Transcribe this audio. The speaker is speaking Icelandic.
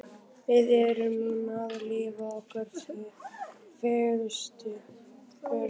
Við erum núna að lifa okkar fegursta.